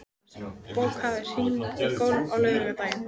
Jónas, bókaðu hring í golf á laugardaginn.